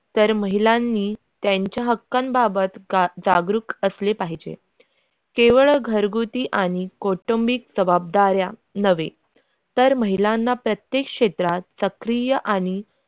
तर महिलांनी त्यांच्या हक्कात बाबत का जागृत असले पाहिजे घरगुती आणि कौटुंबिक जबाबदाऱ्या नवे तर महिलांना प्रत्येक क्षेत्रात सक्रिय आणि.